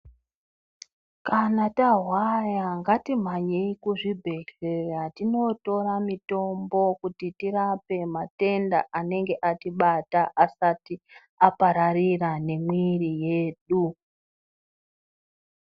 Kana tarwara ngati mhanyei ku zvibhedhleya tino tora mitombo kuti tirape matenda anenge atibata asati apararira ne mwiri yedu.